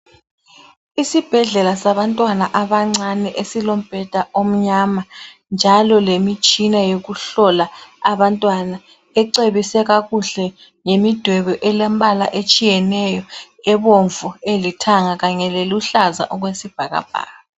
Isibhedlela sabantwana abancane esilombheda omnyama njalo lemitshina yokuhlola abantwana ecwebise kakuhle ngemidwebo elembala etshiyeneyo ebomvu elithanga kanye leluhlaza okwesibhakabhaka.